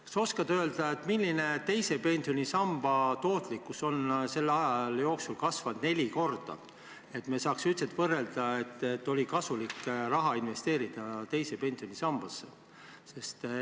Kas sa oskad öelda, millise teise pensionisamba tootlikkus on selle aja jooksul kasvanud neli korda, et me saaks üldse võrrelda, kas raha investeerimine teise pensionisambasse on olnud kasulik?